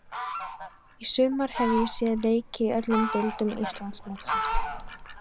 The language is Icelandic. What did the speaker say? Í sumar hef ég séð leiki í öllum deildum Íslandsmótsins.